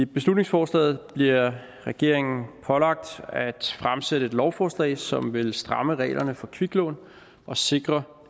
beslutningsforslaget bliver regeringen pålagt at fremsætte et lovforslag som vil stramme reglerne for kviklån og sikre